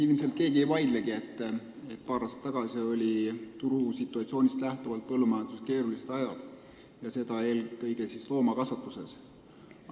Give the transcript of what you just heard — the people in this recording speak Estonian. Ilmselt keegi ei vaidlegi sellega, et paar aastat tagasi olid turusituatsioonist lähtuvalt põllumajanduses keerulised ajad, seda eelkõige loomakasvatuses.